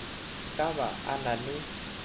ka ba a na le